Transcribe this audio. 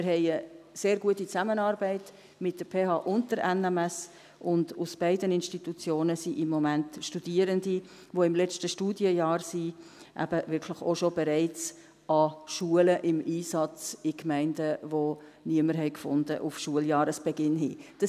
Wir haben eine sehr gute Zusammenarbeit mit der PH und der NMS, und aus beiden Institutionen sind im Moment Studierende, die im letzten Studienjahr sind, eben wirklich auch schon im Einsatz an Schulen in Gemeinden, die auf Schuljahresbeginn niemanden gefunden haben.